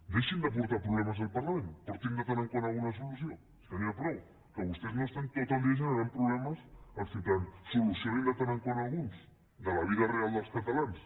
deixin de portar problemes al parlament portin de tant en tant una solució ja n’hi ha prou que vostès no estiguin tot el dia generant problemes als ciutadans solucioninne de tant en tant alguns de la vida real dels catalans